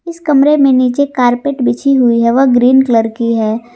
इस कमरे में नीचे कारपेट बिछी हुई है व ग्रीन कलर की है।